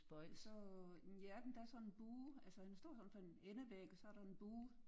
Og så men ja der er sådan en bue altså han står foran sådan en endevæg og så er der en bue